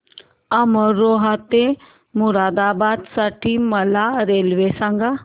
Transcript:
अमरोहा ते मुरादाबाद साठी मला रेल्वे सांगा